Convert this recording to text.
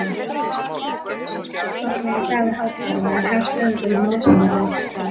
Mánudagurinn, síðasti formlegi dagur hátíðarinnar, hefst auðvitað með morgunverði.